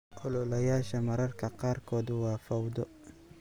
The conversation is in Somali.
Ololayaasha mararka qaarkood waa fawdo.